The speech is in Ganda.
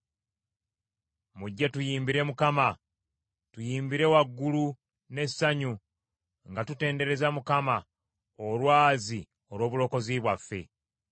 Mujje tuyimbire Mukama ; tuyimbire waggulu n’essanyu nga tutendereza Mukama Olwazi olw’obulokozi bwaffe.